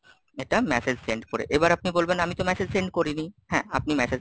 এটা message send করে, এবার আপনি বলবেন, আমি তো message,